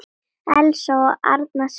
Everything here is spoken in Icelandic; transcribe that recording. Elsa og Arnar skildu.